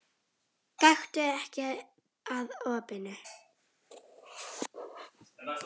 Gakktu ekki að opinu.